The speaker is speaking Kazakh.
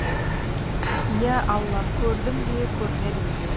иә алла көрдім бе көрмедім бе